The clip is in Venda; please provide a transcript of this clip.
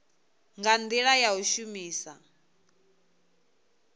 nga ndila ya u shumisa